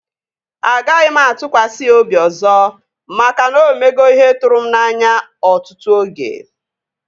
Agaghị m atụkwasị ya obi ọzọ maka na o mego ihe tụrụ m n'anya ọtụtụ oge